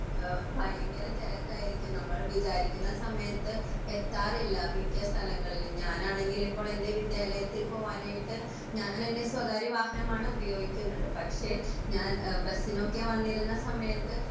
ഏഹ് ഭയങ്കര തെരക്കായിരിക്കും നമ്മൾ വിചാരിക്കുന്ന സമയത്ത് എത്താറില്ല മിക്ക സ്ഥലങ്ങളിലും ഞാൻ ആണെങ്കിൽ ഇപ്പോൾ എന്റെ വിദ്യാലയത്തിൽ പോവാനായിട്ട് ഞാൻ എന്റെ സ്വകാര്യ വാഹനമാണ് ഉപയോഗിക്കുന്നത് പക്ഷെ ഞാൻ എഹ് ബസ്സിനൊക്കെ വന്നിരുന്ന സമയത്ത്